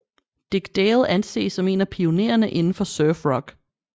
Dick Dale anses som en af pioneerne indenfor surf rock